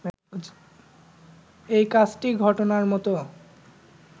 এই কাজটি ঘটানোর মতো